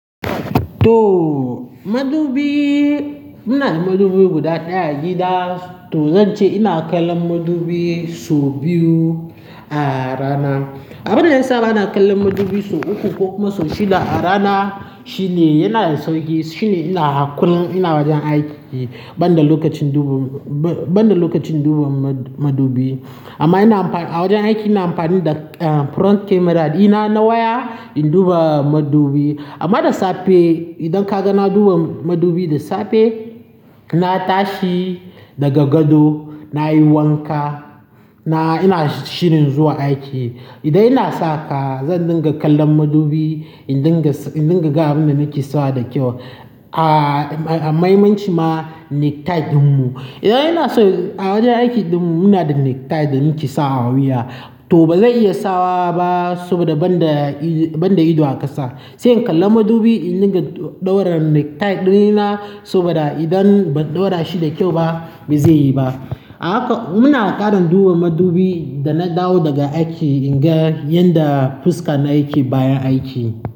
To madubi, muna da madubi guda ɗaya a gida. To zan ce ina kallon madubi sau biyu a rana. Abun da yasa bana kallon madubi sau uku ko kuma sau shida a rana shine yana da sauƙi, shine ina hakuri in ina wajen aiki ban da lokacin duba ma--ban--ban da lokacin duba ma--madubi. Amma ina amfani, a wajen aiki ina amfani da em front camera ɗina na waya in duba madubi. Amma da safe idan kaga na duba madubi da safe, na tashi daga gado, nayi wanka, na--ina shirin zuwa aiki. Idan ina sa kaya zan dinga kallon madubi in dinga sa--in dinga ga abun da nake sawa da kyau a--a maimanci ma necktie ɗin mu. Idan ina so a wajen aikin ɗin mu muna da necktie da muke sawa a wuya to bazan iya sawa ba saboda ban da ido--ban da ido a ƙasa. Sai in kalla madubi in dinga ɗaura necktie ɗina saboda idan ban ɗaura shi da kyau ba bai zai yi ba. Haka muna ƙarin duba madubi da na dawo daga aiki in ga yadda fuska na yake bayan aiki.